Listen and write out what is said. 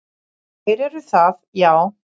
Þeir eru það, já.